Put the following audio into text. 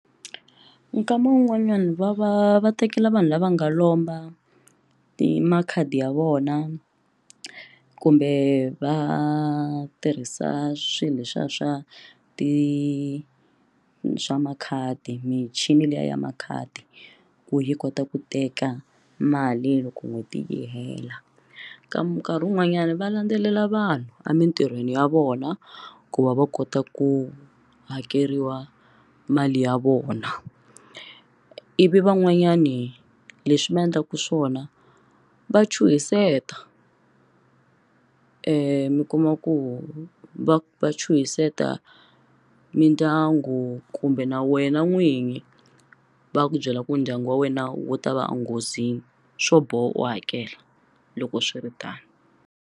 Nkama wun'wanyana va va va tekela vanhu lava nga lomba ti makhadi ya vona kumbe va tirhisa swilo leswiya swa ti swa makhadi michini liya ya makhadi ku yi kota ku teka mali loko n'hweti yi hela ka nkarhi wun'wanyani va landzelela vanhu a mitirhweni ya vona ku va va kota ku hakeriwa mali ya vona ivi van'wanyani leswi ma endlaka swona va chuhiseta mi kuma ku va va chuhiseta mindyangu kumbe na wena n'winyi va ku byela ku ndyangu wa wena wu ta va enghozini swo boha u hakela loko swiritano.